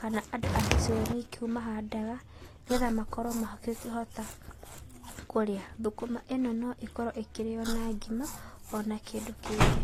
kana andũ a gĩcigoinĩ kĩu mahandaga, nĩgetha makorwo magĩkĩhota kũrĩa, thũkũma ĩno no ĩkorwo ĩkĩrio na ngima ona kĩndũ kĩngĩ.